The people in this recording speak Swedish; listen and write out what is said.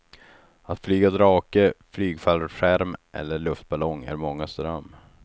Att flyga drake, flygfallskärm eller luftballong är mångas dröm.